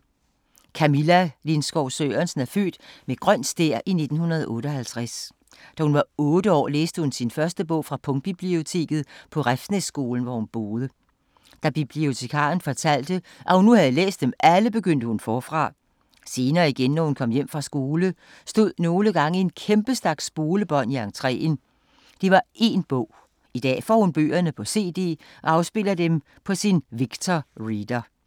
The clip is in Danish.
Camilla Lindskov Sørensen er født med grøn stær i 1958. Da hun var otte år, læste hun sin første bog fra punktbiblioteket på Refsnæsskolen, hvor hun boede. Da bibliotekaren fortalte, at nu havde hun læst dem alle, begyndte hun forfra. Senere igen, når hun kom hjem fra skole, stod nogle gange en kæmpe stak spolebånd i entreen, det var én bog. I dag får hun bøgerne på cd og afspiller dem på sin Victor Reader.